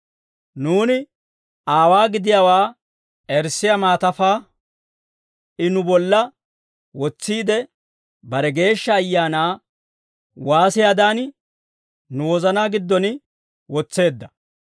Nuuni aawaa gidiyaawaa erissiyaa maatafaa I nu bolla wotsiide, bare Geeshsha Ayaanaa waasiyaadan, nu wozanaa giddon wotseedda.